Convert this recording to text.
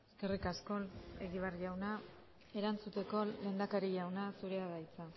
eskerrik asko egibar jauna erantzuteko lehendakari jauna zurea da hitza